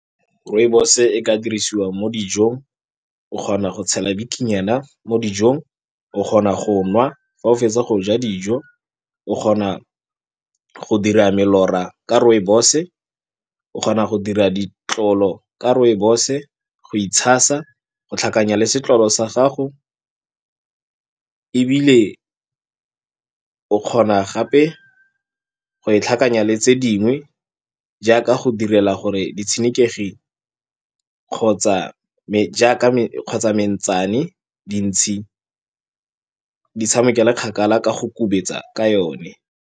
Rooibos-e e ka dirisiwa mo dijong. O kgona go tshela bikinyana mo dijong, o kgona go nwa fa o fetsa go ja dijo, o kgona go dira melora ka rooibos-e, o kgona go dira ditlolo ka rooibos-e, go itshasa, go tlhakanya le setlolo sa gago, ebile o kgona gape go e tlhakanya le tse dingwe, jaaka go direla gore ditshenekegi kgotsa jaaka kgotsa mentsane, dintšhi di tshamekele kgakala ka go kubetsa ka yone.